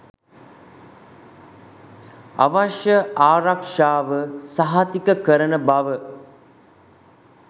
අවශ්‍ය ආරක්ෂාව සහතික කරන බව